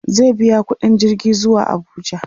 zai biya ƙuɗin jirgi zuwa Abuja